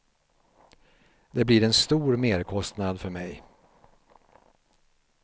Det blir en stor merkostnad för mig.